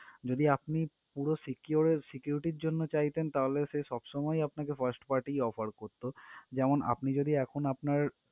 যদি আপনি পুরো secur~ security র জন্য চাইতেন তাহলে সে আপনাকে first party offer করতো যেমন আপনি যদি এখন আপনার